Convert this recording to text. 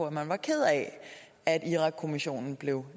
at man var ked af at irakkommissionen blev